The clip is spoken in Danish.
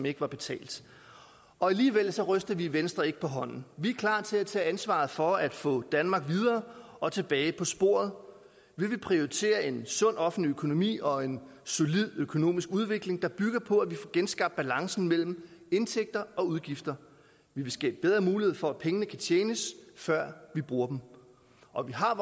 ikke var betalt alligevel ryster vi i venstre ikke på hånden vi er klar til at tage ansvaret for at få danmark videre og tilbage på sporet vi vil prioritere en sund offentlig økonomi og en solid økonomisk udvikling der bygger på at vi får genskabt balancen mellem indtægter og udgifter vi vil skabe bedre mulighed for at pengene kan tjenes før vi bruger dem og vi har